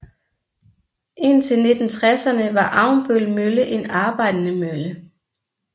Indtil 1960erne var Avnbøl Mølle en arbejdende mølle